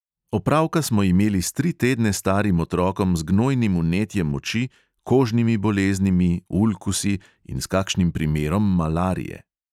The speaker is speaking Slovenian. Opravka smo imeli s tri tedne starim otrokom z gnojnim vnetjem oči, kožnimi boleznimi, ulkusi in s kakšnim primerom malarije.